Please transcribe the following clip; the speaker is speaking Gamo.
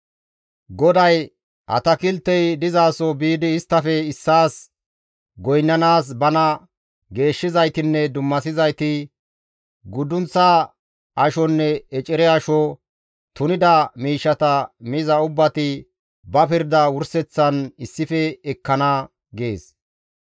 GODAY, «Atakiltey dizasoho biidi isttafe issaas goynnanaas bana geeshshizaytinne dummasizayti, guddunththa ashonne ecere asho, tunida miishshata miza ubbati ba pirda wurseththan issife ekkana» gees.